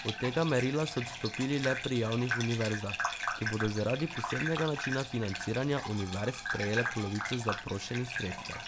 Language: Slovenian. Od tega merila so odstopili le pri javnih univerzah, ki bodo zaradi posebnega načina financiranja univerz prejele polovico zaprošenih sredstev.